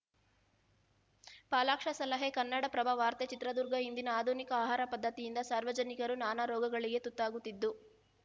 ಪಾಲಾಕ್ಷ ಸಲಹೆ ಕನ್ನಡಪ್ರಭ ವಾರ್ತೆ ಚಿತ್ರದುರ್ಗ ಇಂದಿನ ಆಧುನಿಕ ಆಹಾರ ಪದ್ಧತಿಯಿಂದ ಸಾರ್ವಜನಿಕರು ನಾನಾ ರೋಗಗಳಿಗೆ ತುತ್ತಾಗುತ್ತಿದ್ದು